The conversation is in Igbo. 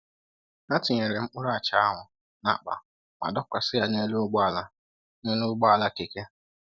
Ha tinyere mkpụrụ acha ahụ n'akpa ma dọkwasị ya n'elu ụgbọ ala n'elu ụgbọ ala keke.